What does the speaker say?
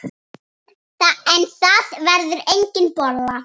En það verður engin bolla.